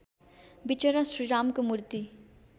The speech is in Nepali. विचरा श्रीरामको मूर्ति